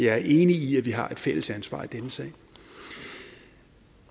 er enig i at vi har et fælles ansvar i denne sag